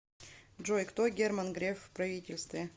джой кто герман греф в правительстве